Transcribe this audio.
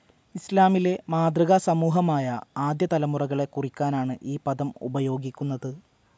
ഇസ്‌ലാമിലെ മാതൃകാ സമൂഹമായ ആദ്യ തലമുറകളെ കുറിക്കാനാണ് ഈ പദം ഉപയോഗിക്കുന്നത്.